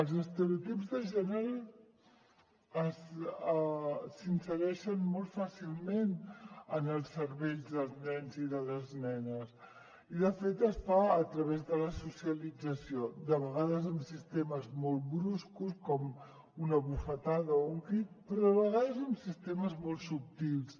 els estereotips de gènere s’insereixen molt fàcilment en els cervells dels nens i de les nenes i de fet es fa a través de la socialització de vegades amb sistemes molt bruscos com una bufetada o un crit però a vegades amb sistemes molt subtils